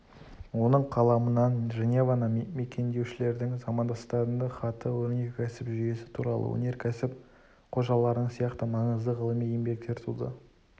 оның қаламынан женеваны мекендеушілердің замандастарына хаты өнеркәсіп жүйесі туралы өнеркәсіп қожаларының сияқты маңызды ғылыми еңбектер туды